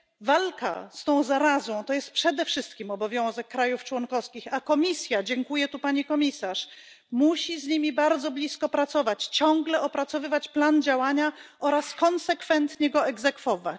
Walka z tą zarazą to jest przede wszystkim obowiązek państw członkowskich, a Komisja dziękuję tu Pani Komisarz musi z nimi bardzo blisko pracować, ciągle opracowywać plan działania oraz konsekwentnie go egzekwować.